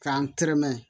K'an terɛmɛn